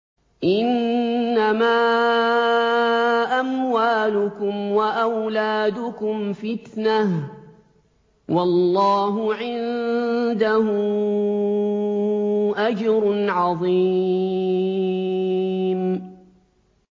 إِنَّمَا أَمْوَالُكُمْ وَأَوْلَادُكُمْ فِتْنَةٌ ۚ وَاللَّهُ عِندَهُ أَجْرٌ عَظِيمٌ